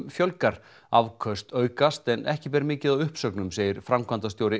fjölgar afköst aukast en ekki ber mikið á uppsögnum segir framkvæmdastjóri